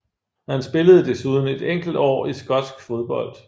Han spillede desuden et enkelt år i skotsk fodbold